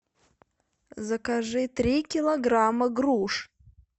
закажи три килограмма груш